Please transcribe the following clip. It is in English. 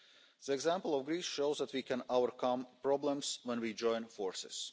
The example of Greece shows that we can overcome problems when we join forces.